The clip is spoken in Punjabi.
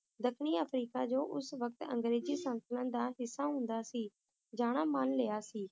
ਦੱਖਣੀ ਅਫ੍ਰੀਕਾ ਜੋ ਉਸ ਵਕਤ ਅੰਗਰੇਜ਼ੀ ਸਲਤਨਤ ਦਾ ਹਿੱਸਾ ਹੁੰਦਾ ਸੀ, ਜਾਣਾ ਮਨ ਲਿਆ ਸੀ